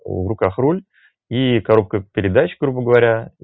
в руках руль и коробка передач грубо говоря